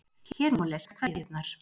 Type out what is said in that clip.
Hér má lesa kveðjurnar